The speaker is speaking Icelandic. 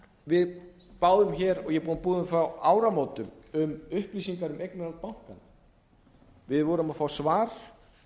við báðum hér og ég er búinn að biðja um frá áramótum um upplýsingar um eignarhald bankanna við vorum að fá svar